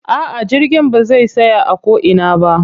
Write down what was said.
A'a jirgin ba zai tsaya a ko ina ba.